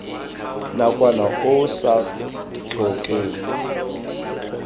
nakwana o o sa tlhokeng